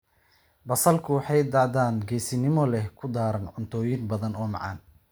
Basalku waxay dhadhan geesinimo leh ku daraan cuntooyin badan oo macaan.